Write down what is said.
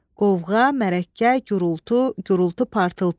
Qovğa, mərəkə, gurultu, gurultu-partıltı.